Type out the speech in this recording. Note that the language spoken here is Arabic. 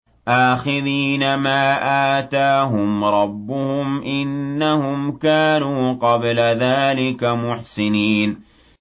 آخِذِينَ مَا آتَاهُمْ رَبُّهُمْ ۚ إِنَّهُمْ كَانُوا قَبْلَ ذَٰلِكَ مُحْسِنِينَ